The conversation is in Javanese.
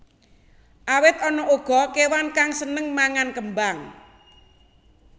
Awit ana uga kéwan kang sênêng mangan kêmbang